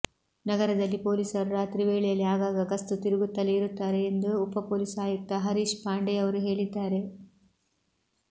ನಗರದಲ್ಲಿ ಪೊಲೀಸರು ರಾತ್ರಿ ವೇಳೆಯಲ್ಲಿ ಆಗಾಗ ಗಸ್ತು ತಿರುಗುತ್ತಲೇ ಇರುತ್ತಾರೆ ಎಂದು ಉಪ ಪೊಲೀಸ್ ಆಯುಕ್ತ ಹರೀಷ್ ಪಾಂಡೆಯವರು ಹೇಳಿದ್ದಾರೆ